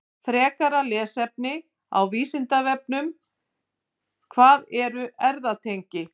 Frekara lesefni á Vísindavefnum: Hvað eru efnatengi?